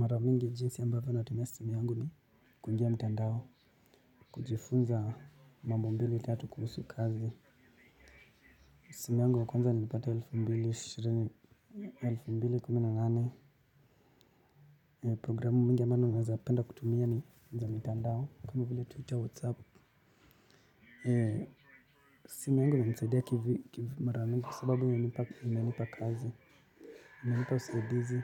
Mara mingi jinsi ambavyo natumia simu yangu ni kuingia mtandao kujifunza mambo mbili tatu kuhusu kazi. Simu yangu ya kwanza nilipata elfu mbili ishirini elfu mbili kumi na nane programu mingi amanu naeza apenda kutumia ni za mtandao. Kama vile twitter whatsapp. Simu yangu inansaidia kivi mara mingi sababu inanipa kazi inanipa usaidizi